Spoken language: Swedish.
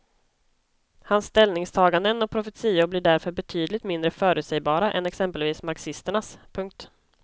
Hans ställningstaganden och profetior blir därför betydligt mindre förutsägbara än exempelvis marxisternas. punkt